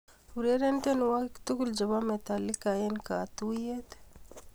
Ureren tiewokik tugul chebo Metallica enh katuyet